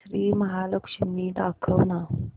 श्री महालक्ष्मी दाखव ना